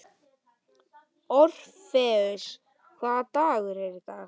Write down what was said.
Orfeus, hvaða dagur er í dag?